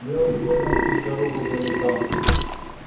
белым снегом путь-дорогу заметал